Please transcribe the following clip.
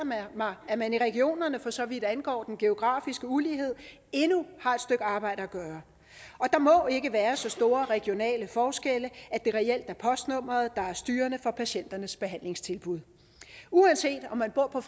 mig at man i regionerne for så vidt angår den geografiske ulighed endnu har et stykke arbejde at gøre og der må ikke være så store regionale forskelle at det reelt er postnummeret der er styrende for patienternes behandlingstilbud uanset om man bor på